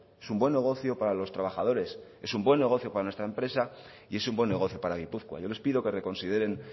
es un buen negocio para los trabajadores es un buen negocio para nuestra empresa y es un buen negocio para gipuzkoa yo les pido que reconsideren